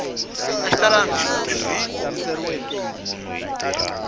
a xi talangi swihoxo hi